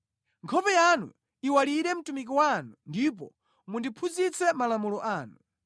Nkhope yanu iwalire mtumiki wanu ndipo mundiphunzitse malamulo anu.